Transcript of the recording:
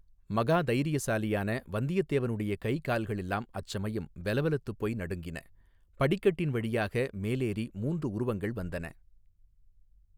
மகா தைரியசாலியான வந்தியத்தேவனுடைய கைகால்கள் எல்லாம் அச்சமயம் வெலவெலத்துப் போய் நடுநடுங்கின படிக்கட்டின் வழியாக மேலேறி மூன்று உருவங்கள் வந்தன.